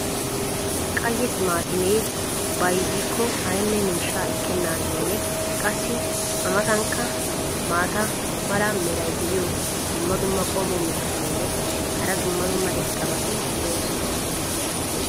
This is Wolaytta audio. qaye timaatimee bayzzikko aynne miishshaa ekkenaageenne qassi a matankka maata mala meray diyo dumma dumma qommo mitattinne hara dumma dumma irxxabati de'oosona.